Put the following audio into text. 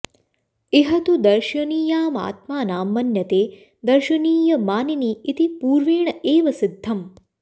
इह तु दर्शनीयामात्मानं मन्यते दर्शनीयमानिनी इति पूर्वेण एव सिद्धम्